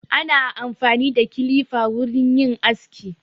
Ana amfani da kilifa wurin yin aski.